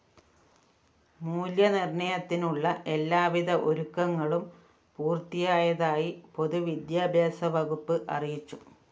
മൂല്യനിര്‍ണയത്തിനുള്ള എല്ലാവിധ ഒരുക്കങ്ങളും പൂര്‍ത്തിയായതായി പൊതുവിദ്യാഭ്യാസ വകുപ്പ് അറിയിച്ചു